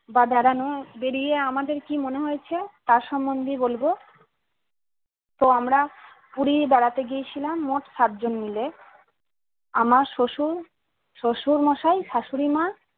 বা বেড়ানো বেড়িয়ে আমাদের কি মনে হয়েছে তার সমন্ধে বলবো তো আমরা পুরি বেড়াতে গিয়েছিলাম মোট সাত জন মিলে আমার শশুর শশুরমশাই শাশুড়িমা